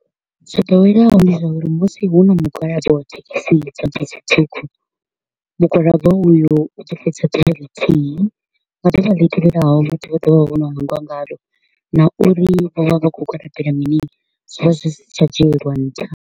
Zwo ḓoweleaho ndi zwa uri musi hu na mugwalabo wa thekhisi dza bisi ṱhukhu, mugwalabo uyu u ḓo fhedza ḓuvha lithihi, nga ḓuvha ḽi tevhelaho vhathu vha ḓovha vho no hangwa ngaḽo, na uri vho vha vha kho u gwalabela mini zwi vha zwi si tsha dzhieliwa nṱha.